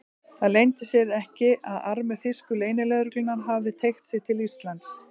Það leyndi sér ekki, að armur þýsku leynilögreglunnar hafði teygt sig til Íslands.